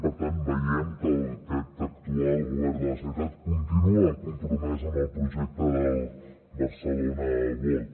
per tant veiem que aquest actual govern de la generalitat continua compromès amb el projecte del barcelona world